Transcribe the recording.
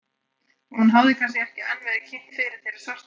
Hún hafði kannski ekki enn verið kynnt fyrir þeirri svarthærðu.